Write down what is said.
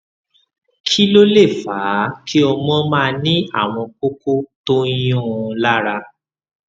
kí ló lè fà á kí ọmọ máa ní àwọn kókó tó ń yuún un lára